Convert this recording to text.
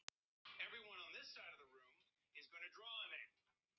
Þetta var í annað sinn sem hún var hýdd.